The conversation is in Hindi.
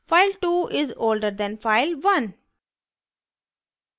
file2 is older than file1